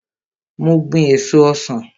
Mo gbin èso ọsan.